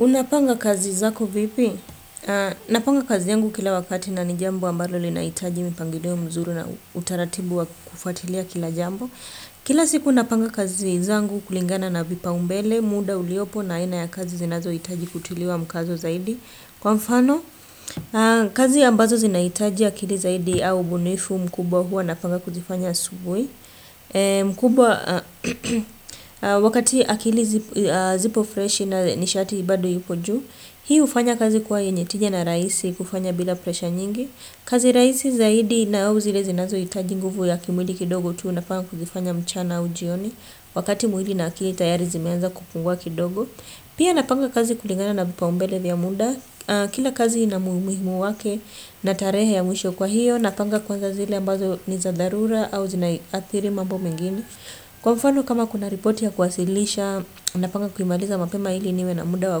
Unapanga kazi zako vipi? Napanga kazi yangu kila wakati na ni jambo ambalo linahitaji mipangilio mzuri na utaratibu wa kufuatilia kila jambo. Kila siku napanga kazi zangu kulingana na vipaumbele, muda uliopo na aina ya kazi zinazohitaji kutiliwa mkazo zaidi. Kwa mfano, kazi ambazo zinahitaji akili zaidi au ubunifu mkubwa huwa napanga kuzifanya subui. Mkubwa wakati akili zipo fresh na nishati bado ipo juu hii hufanya kazi kwa yenye tija na raisi kufanya bila presha nyingi kazi rahisi zaidi na au zile zinazohitaji nguvu ya kimwili kidogo tu unapanga kuzifanya mchana au jioni wakati mwili na akili tayari zimeanza kupungua kidogo pia napanga kazi kulingana na vipaumbele vya munda kila kazi ina muhimu wake na tarehe ya mwisho kwa hiyo napanga kwanza zile ambazo ni za dharura au zinaiathiri mambo mengini kwa mfano kama kuna repoti ya kwasilisha napanga kuimaliza mapema ili niwe na muda wa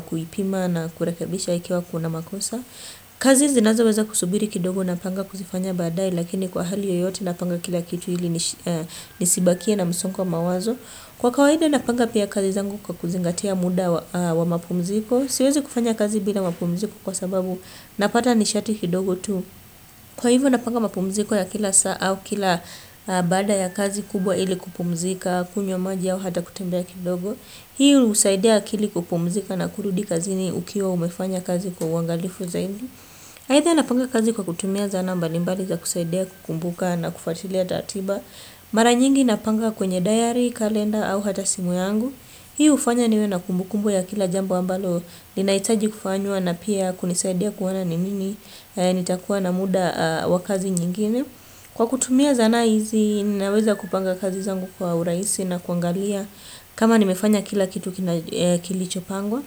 kuipima na kurekebisha ikiwa ina makosa kazi zinazoweza kusubiri kidogo napanga kuzifanya badae lakini kwa hali yoyote napanga kila kitu ili nisibakie na msungo wa mawazo kwa kawaida napanga pia kazi zangu kwa kuzingatia muda wa mapumziko siwezi kufanya kazi bila mapumziko kwa sababu napata nishati kidogo tu. Kwa hivyo napanga mapumziko ya kila saa au kila baada ya kazi kubwa ili kupumzika, kunywa maji au hata kutembea kidogo. Hii husaidia akili kupumzika na kurudi kazini ukiwa umefanya kazi kwa uangalifu zaidi. Aidha napanga kazi kwa kutumia zana mbalimbali za kusaidia kukumbuka na kufatilia taratiba. Mara nyingi napanga kwenye diary, kalenda au hata simu yangu. Hii hufanya niwe na kumbukumbu ya kila jambo ambalo linahitaji kufanywa na pia kunisaidia kuona ni lini. Nitakuwa na muda wa kazi nyingine. Kwa kutumia zana hizi naweza kupanga kazi zangu kwa urahisi na kuangalia kama nimefanya kila kitu kilichopangwa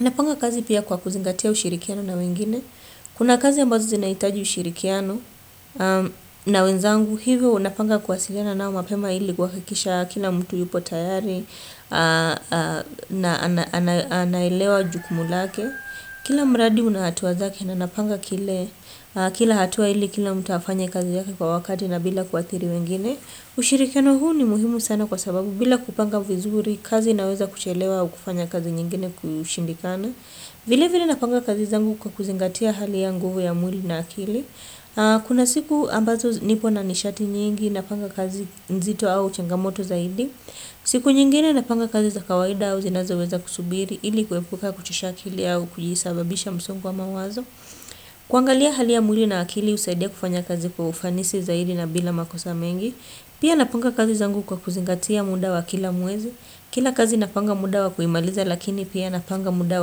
napanga kazi pia kwa kuzingatia ushirikiano na wengine. Kuna kazi ambazo zinahitaji ushirikiano. Na wenzangu hivyo unapanga kuwasiliana nao mapema ili kuhakikisha kila mtu yupo tayari. Na anailewa jukumu lake kila mradi una hatua zake na napanga kila hatua ili kila mtu afanye kazi yake kwa wakati bila kuathiri wengine ushirikiano huu ni muhimu sana kwa sababu bila kupanga vizuri kazi inaweza kuchelewa au kufanya kazi nyingine kushindikana. Vile vile napanga kazi zangu kwa kuzingatia hali ya nguvu ya mwili na akili. Kuna siku ambazo nipo na nishati nyingi napanga kazi nzito au changamoto zaidi siku nyingine napanga kazi za kawaida au zinazoweza kusubiri ili kuepuka kuchosha akili au kujisababisha msongo wa mawazo. Kuangalia hali ya mwili na akili husaidia kufanya kazi kwa ufanisi zaidi na bila makosa mengi. Pia napanga kazi zangu kwa kuzingatia muda wa kila mwezi. Kila kazi napanga muda wa kuimaliza lakini pia napanga muda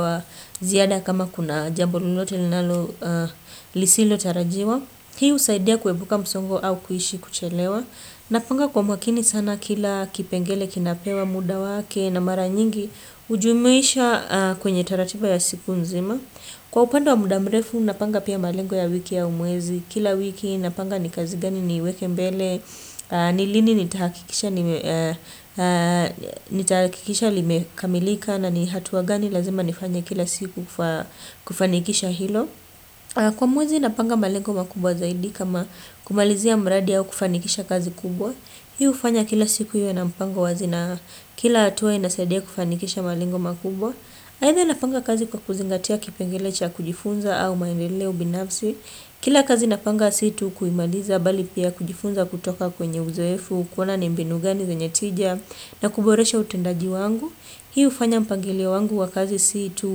wa ziada kama kuna jambo lolote linalo lisilotarajiwa. Hii husaidia kuepuka msongo au kuishi kuchelewa. Napanga kwa makini sana kila kipengele kinapewa muda wake na mara nyingi hujumuisha kwenye taratiba ya siku nzima. Kwa upande wa muda mrefu napanga pia malengo ya wiki au mwezi kila wiki napanga ni kazi gani niweke mbele. Ni lini nitahakikisha limekamilika na ni hatua gani lazima nifanye kila siku kufanikisha hilo. Kwa mwezi napanga malengo makubwa zaidi kama kumalizia mradi au kufanikisha kazi kubwa. Hii hufanya kila siku iwe na mpango wazi na kila hatua inasaidia kufanikisha malengo makubwa aidha napanga kazi kwa kuzingatia kipengele cha kujifunza au maendeleo binatsi. Kila kazi napanga si tu kuimaliza bali pia kujifunza kutoka kwenye uzoefu. Kuona ni mbinu gani zenye tija na kuboresha utendaji wangu. Hii hufanya mpangilio wangu wa kazi si tu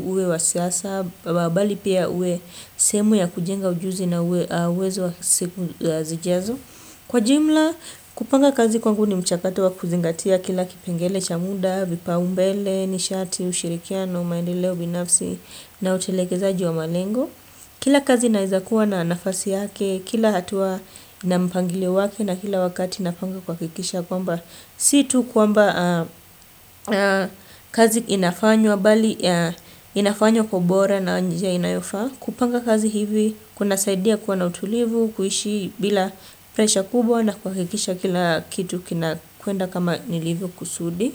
uwe wa siasa saba bali pia uwe sehemu ya kujenga ujuzi na uwezo wa siku zijazo. Kwa jumla kupanga kazi kwangu ni mchakato wa kuzingatia kila kipengele cha muda vipaumbele nishati ushirikiano maendeleo binafsi na utelekezaji wa malengo. Kila kazi inaezakuwa na nafasi yake, kila hatua na mpangilio wake na kila wakati napanga kuhakikisha. Kuamba si tu kwamba kazi inafanywa inafanywa kwa ubora na njia inayofaa kupanga kazi hivi kunasaidia kuwa na utulivu kuishi bila presha kubwa na kuhakikisha kila kitu kinakwenda kama nilivyokusudi.